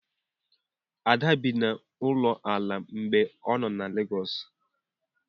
Ada bi n'ụlọ ala mgbe ọ nọ na Legọọsụ.